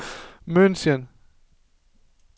München